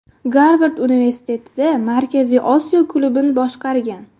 Garvard Universitetida Markaziy Osiyo klubini boshqargan.